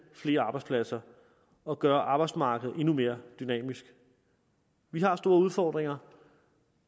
flere arbejdspladser og gør arbejdsmarkedet endnu mere dynamisk vi har store udfordringer